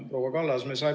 Proua Kallas!